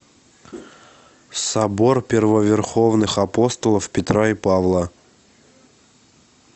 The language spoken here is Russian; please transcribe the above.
собор первоверховных апостолов петра и павла